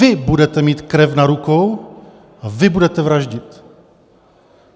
Vy budete mít krev na rukou a vy budete vraždit.